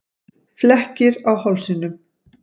Flekkir á hálsinum.